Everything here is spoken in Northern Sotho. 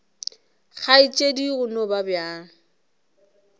kgaetšedi go no ba bjalo